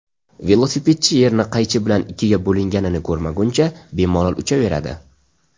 Velosipedchi yerni qaychi bilan ikkiga bo‘linganini ko‘rmaguncha bemalol uchaveradi.